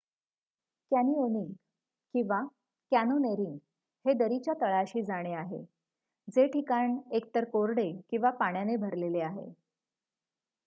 canyoning किंवा: canyoneering हे दरीच्या तळाशी जाणे आहे जे ठिकाण एकतर कोरडे किंवा पाण्याने भरलेले आहे